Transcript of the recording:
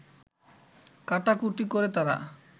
কাটাকুটি করে তারা